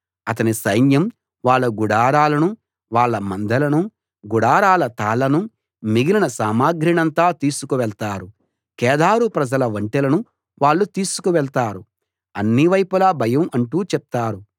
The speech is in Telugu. అతని సైన్యం వాళ్ళ గుడారాలనూ వాళ్ళ మందలనూ గుడారాల తాళ్లనూ మిగిలిన సామాగ్రినంతా తీసుకు వెళ్తారు కేదారు ప్రజల ఒంటెలను వాళ్ళు తీసుకువెళ్తారు అన్ని వైపులా భయం అంటూ చెప్తారు